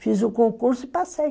Fiz o concurso e passei.